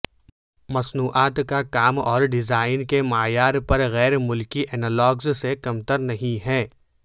مصنوعات کا کام اور ڈیزائن کے معیار پر غیر ملکی اینالاگز سے کمتر نہیں ہیں